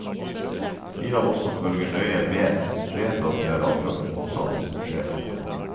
De av oss som følger nøye med, vet at det er akkurat det motsatte som skjer.